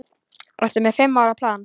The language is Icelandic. Ertu með fimm ára plan?